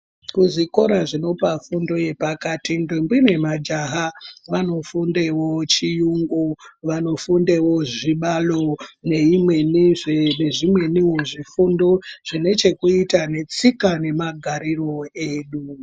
Kuzvikora zvinopa fundo yepakati ndombi nemajaha vanofundeyo chiyungu vanofundevo zvibalo nezvimweni zvifundo zvinechekuita netsika nemagariro edu.